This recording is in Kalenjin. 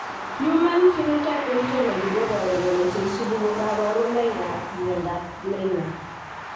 Human Phenotype Otology koboru kole cheisubi ko kabarunoik ab myondab Leiner